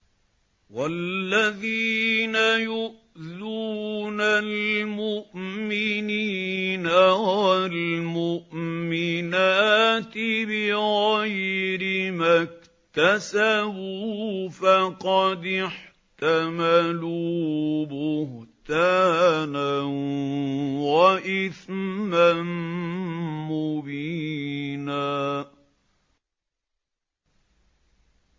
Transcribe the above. وَالَّذِينَ يُؤْذُونَ الْمُؤْمِنِينَ وَالْمُؤْمِنَاتِ بِغَيْرِ مَا اكْتَسَبُوا فَقَدِ احْتَمَلُوا بُهْتَانًا وَإِثْمًا مُّبِينًا